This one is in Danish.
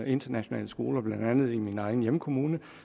internationale skoler blandt andet en i min egen hjemkommune